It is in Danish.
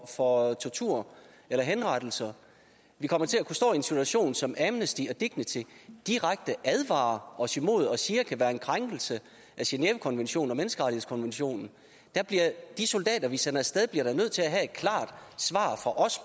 for tortur eller henrettelse vi kommer til at kunne stå i en situation som amnesty og dignity direkte advarer os imod og siger kan være en krænkelse af genèvekonventionen og menneskerettighedskonventionen de soldater vi sender af sted bliver da nødt til at have et klart svar fra os